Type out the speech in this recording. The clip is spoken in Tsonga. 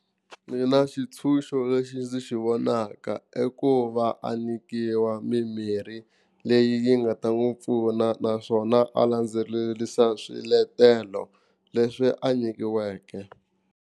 Mina xitshunxo lexi ndzi xi vonaka i ku va a nyikiwa mimirhi leyi yi nga ta n'wi pfuna naswona a landzelerisa swiletelo leswi a nyikiweke.